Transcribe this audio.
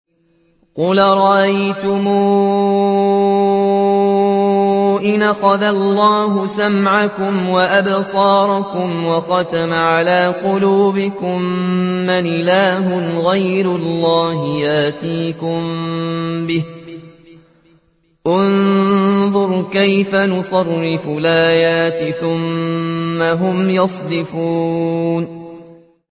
قُلْ أَرَأَيْتُمْ إِنْ أَخَذَ اللَّهُ سَمْعَكُمْ وَأَبْصَارَكُمْ وَخَتَمَ عَلَىٰ قُلُوبِكُم مَّنْ إِلَٰهٌ غَيْرُ اللَّهِ يَأْتِيكُم بِهِ ۗ انظُرْ كَيْفَ نُصَرِّفُ الْآيَاتِ ثُمَّ هُمْ يَصْدِفُونَ